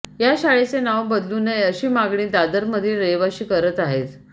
या शाळेचे नाव बदलू नये अशी मागणी दादरमधील रहिवाशी करत आहेत